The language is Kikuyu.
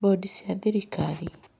Bondi cia thirikari: